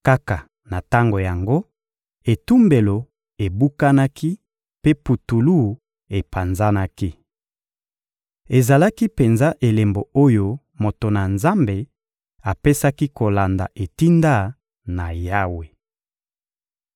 Kaka na tango yango, etumbelo ebukanaki mpe putulu epanzanaki. Ezalaki penza elembo oyo moto na Nzambe apesaki kolanda etinda na Yawe.